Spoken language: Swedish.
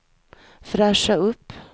fräscha upp